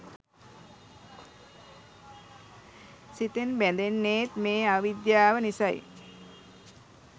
සිතෙන් බැඳෙන්නේත් මේ අවිද්‍යාව නිසයි.